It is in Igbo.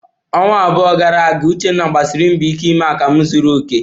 Ọnwa abụọ gara aga, Uchenna gbasiri mbọ ike ime akamu zuru oke.